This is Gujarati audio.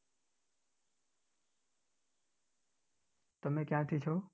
તમે ક્યાંથી છો?